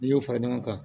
N'i y'o fara ɲɔgɔn kan